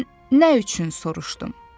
Mən nə üçün soruşdum?